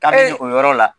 Ka se o yɔrɔ la